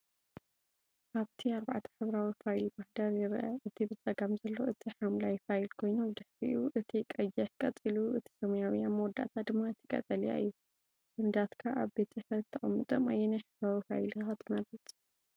ኣብቲ ኣርባዕተ ሕብራዊ ፋይል ማህደር ይርአ። እቲ ብጸጋም ዘሎ እቲ ሐምላይ ፋይል ኮይኑ፡ ድሕሪኡ እቲ ቀይሕ፡ ቀጺሉ እቲ ሰማያዊ፡ ኣብ መወዳእታ ድማ እቲ ቀጠልያ እዩ። ሰነዳትካ ኣብ ቤት ጽሕፈት ከተቐምጦም ኣየናይ ሕብራዊ ፋይል ኢኻ ትመርጽ?